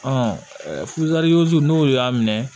n'o y'a minɛ